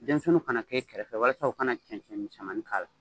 Denmisɛniw kana k'e kɛrɛfɛ walasa u kana cɛncɛn misɛmanin k'a la.